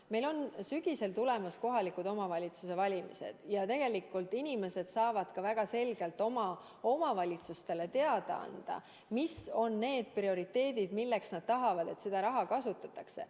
Meil on sügisel tulemas kohalike omavalitsuste valimised ja tegelikult inimesed saavad ka väga selgelt oma omavalitsustele teada anda, mis on need prioriteedid, milleks nad tahavad, et seda raha kasutatakse.